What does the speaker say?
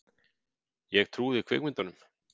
Ég trúði kvikmyndunum.